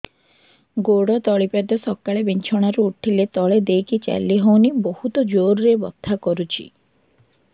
ଗୋଡ ତଳି ପାଦ ସକାଳେ ବିଛଣା ରୁ ଉଠିଲେ ତଳେ ଦେଇକି ଚାଲିହଉନି ବହୁତ ଜୋର ରେ ବଥା କରୁଛି